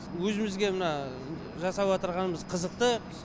өзімізге мына жасап отырғанымыз қызықты